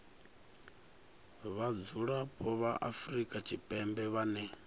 vhadzulapo vha afrika tshipembe vhane